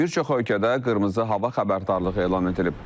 Bir çox ölkədə qırmızı hava xəbərdarlığı elan edilib.